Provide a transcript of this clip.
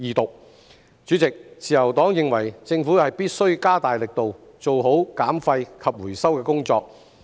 代理主席，自由黨認為政府必須加大力度，做好減廢及回收的工作。